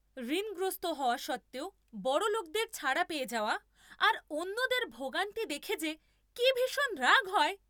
ঋণগ্রস্ত হওয়া সত্ত্বেও বড়লোকদের ছাড়া পেয়ে যাওয়া আর অন্যদের ভোগান্তি দেখে যে কি ভীষণ রাগ হয়!